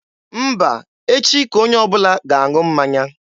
Mba, echi ka onye ọbụla ga-aṅụ mmanya.